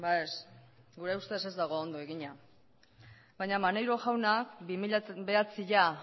ez gure ustez ez dago ondo egina baina maneiro jauna bi mila bederatzia